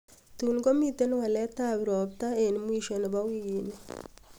tun komiten walet ab ropta en wisho nebo wigini